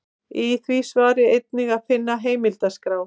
Í því svari er einnig að finna heimildaskrá.